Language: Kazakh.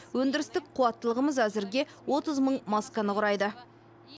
өндірістік қуаттылығымыз әзірге отыз мың масканы құрайды